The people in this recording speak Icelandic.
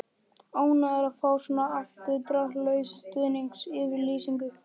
Ánægður að fá svona afdráttarlausa stuðningsyfirlýsingu.